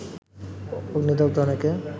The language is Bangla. অগ্নিদগ্ধ অনেকে